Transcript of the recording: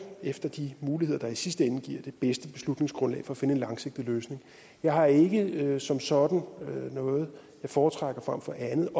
efter de muligheder der i sidste ende giver det bedste beslutningsgrundlag for at finde en langsigtet løsning jeg har ikke som sådan noget jeg foretrækker frem for andet